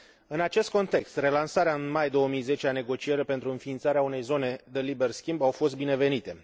În acest context, relansarea, în mai 2010, a negocierilor pentru înființarea unei zone de liber schimb au fost binevenite.